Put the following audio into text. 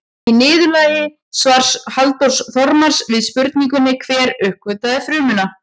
Í niðurlagi svars Halldórs Þormars við spurningunni Hver uppgötvaði frumuna?